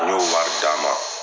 an y'o wari d'a ma.